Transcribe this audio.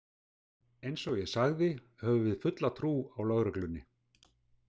Eins og ég sagði höfum við fulla trú á lögreglunni.